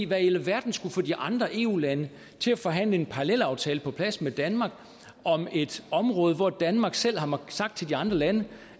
hvad i alverden skulle få de andre eu lande til at forhandle en parallelaftale på plads med danmark om et område hvor danmark selv har sagt til de andre lande